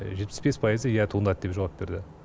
жетпіс бес пайызы иә туындады деп жауап берді